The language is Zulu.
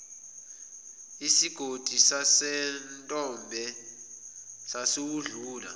isigodi sasentombe sasiwedlula